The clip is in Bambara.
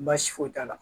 Baasi foyi t'a la